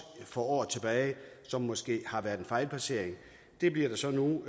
for år tilbage som måske har været en fejlplacering det bliver der så nu